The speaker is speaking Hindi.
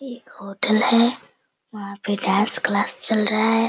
एक होटल है वहाँ पे डांस क्लास चल रहा है।